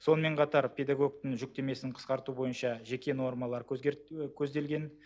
сонымен қатар педагогтің жүктемесін қысқарту бойынша жеке нормалар көзделген